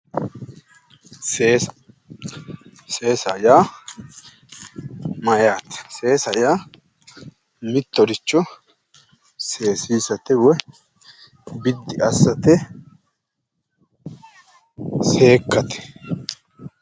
Seesa. Seesa yaa mayyaate? Seesa yaa mittoricho seesiisate woyi biddi assate woyi seekkate yaate